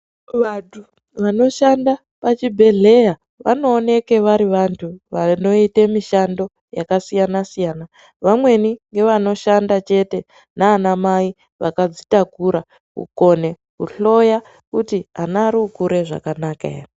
Vanthu vanoshanda pazvibhehleya vanooneka vari vanthu vanoite mishando yakasiyana siyana .Vamweni ngevanoshanda chete nana mai vakadzitakura kukone kuhloya kuti ana ari kukura zvakanaka ere